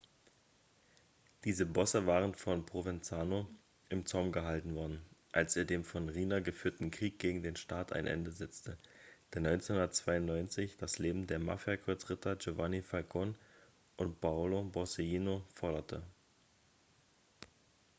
diese bosse waren von provenzano im zaum gehalten worden als er dem von riina geführten krieg gegen den staat ein ende setzte der 1992 das leben der mafia-kreuzritter giovanni falcone und paolo borsellino forderte